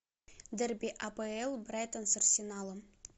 дерби апл брайтон с арсеналом